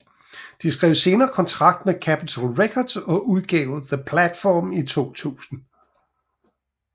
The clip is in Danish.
De skrev senere kontrakt med Capital Records og udgav The Platform i 2000